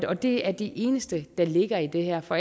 og det er det eneste der ligger i det her for